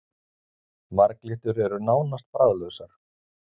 Marglyttur eru nánast bragðlausar.